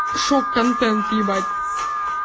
шок контент ебать